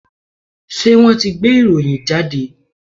Ṣé wọ́n ti gbé ìròyìn jáde?